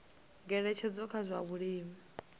ngeletshedzo kha zwa vhulimi na